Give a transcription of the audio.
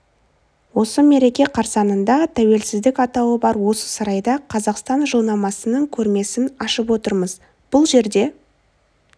осы мереке қарсаңында тәуелсіздік атауы бар осы сарайда қазақстан жылнамасының көрмесін ашып отырмыз бұл жерде